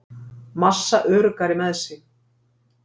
Massa öruggari með sig